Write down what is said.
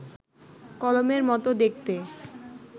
কলমের মতো দেখতে